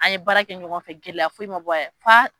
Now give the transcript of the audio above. An ye baara kɛ ɲɔgɔn fɛ gɛlɛya fo i ma bɔ yɛrɛ fa.